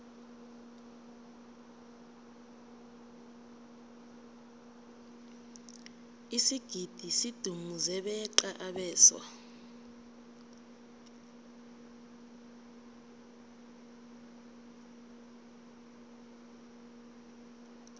isigidi sidumuze beqa abeswa